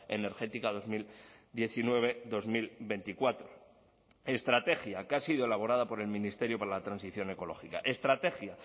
energética dos mil diecinueve dos mil veinticuatro estrategia que ha sido elaborada por el ministerio para la transición ecológica estrategia